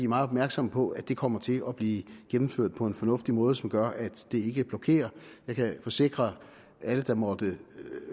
meget opmærksomme på at det kommer til at blive gennemført på en fornuftig måde som gør at det ikke blokerer jeg kan forsikre alle der måtte